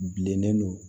Bilennen don